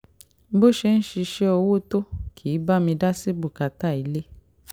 bó ṣe ń ṣiṣẹ́ owó tó kì í bá mi dá sí bùkátà ilé